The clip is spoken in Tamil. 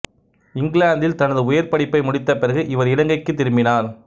இங்கிலாந்தில் தனது உயர் படிப்பை முடித்த பிறகு இவர் இலங்கைக்குத் திரும்பினார்